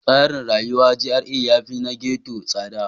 Tsarin rayuwar GRA yafi na ghetto tsada.